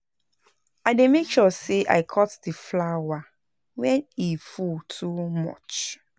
I dey make sure sey I cut di flower wen e full too much